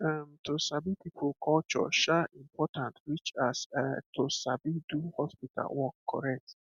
erm to sabi people culture um important reach as um to sabi do hospital work correct